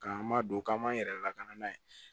K'an m'a don k'an m'an yɛrɛ lakana n'a ye